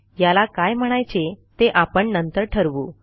याला काय म्हणायचे ते आपण नंतर ठरवू